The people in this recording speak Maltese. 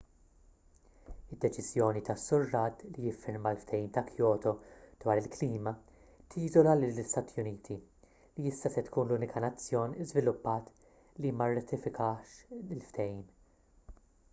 id-deċiżjoni tas-sur rudd li jiffirma l-ftehim ta' kyoto dwar il-klima tiżola lill-istati uniti li issa se tkun l-unika nazzjon żviluppat li ma rratifikatx il-ftehim